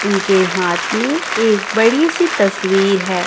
उनके हाथ में एक बड़ी सी तस्वीर है।